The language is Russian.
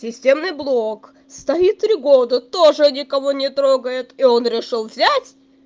системный блок стоит три года тоже никого не трогает и он решил взять